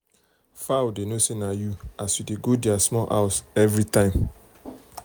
fowl dey know say na you as you dey go their small house every time.